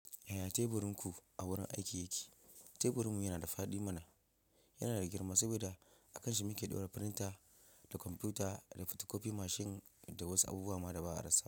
Yaya teburinku a wurin aiki yake? Teburin mu yana da fadi mana. Yana da girma saboda akan shi muke dora firinta, da kwamfuta, da fotokofi mashin da wasu abubuwa ma da ba a rasa.